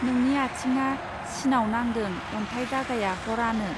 नोंनि आथिङा सिनाव नांदों अन्थाय दागाया हर आनो.